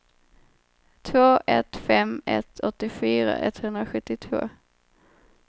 två ett fem ett åttiofyra etthundrasjuttiotvå